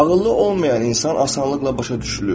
Ağıllı olmayan insan asanlıqla başa düşülür.